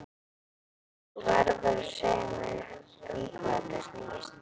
Þú verður að segja mér um hvað þetta snýst.